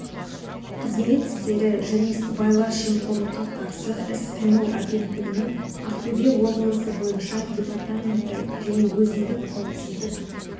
қызмет істері және сыбайлас жемқорлыққа қарсы іс-қимыл агенттігінің ақтөбе облысы бойынша департаменті және өзіндік қауіпсіздік